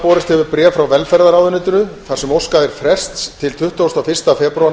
borist hefur bréf frá velferðarráðuneytinu þar sem óskað er frests til tuttugasta og fyrsta febrúar